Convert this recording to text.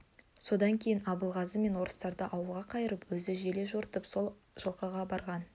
содан кейін абылғазы мен орыстарды ауылға қайырып өзі желе жортып сол жылқыға барған